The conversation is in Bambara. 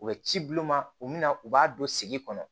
U bɛ ci bul'u ma u bɛna u b'a don sigi kɔnɔ